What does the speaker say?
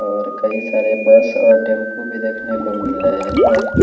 और कई सारे बस और टेंपू भी देखने को मिल रहे है।